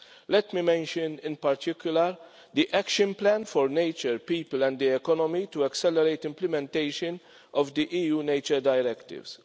Let me mention, in particular, the Action Plan for nature, people and the economy, to accelerate implementation of the EU nature directives